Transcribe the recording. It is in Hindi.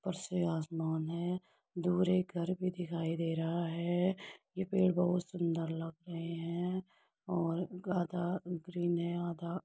ऊपर से आसमान है। दूर एक घर भी दिखाई दे रहा है। ये पेड़ बहुत सुंदर लग रहे हैं और आधा ग्रीन है आधा --